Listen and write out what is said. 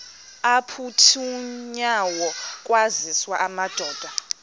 aphuthunywayo kwaziswe amadoda